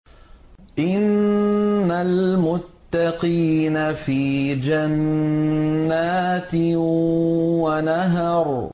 إِنَّ الْمُتَّقِينَ فِي جَنَّاتٍ وَنَهَرٍ